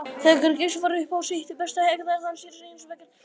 Þegar Geysir var upp á sitt besta hegðaði hann sér hins vegar öðruvísi.